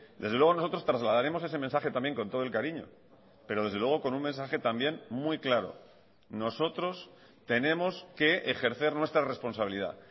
desde luego nosotros trasladaremos ese mensaje también con todo el cariño pero desde luego con un mensaje también muy claro nosotros tenemos que ejercer nuestra responsabilidad